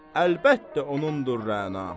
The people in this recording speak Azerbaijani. Əlbəttə onundur Rəna.